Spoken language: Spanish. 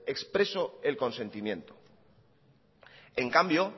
expreso el consentimiento en cambio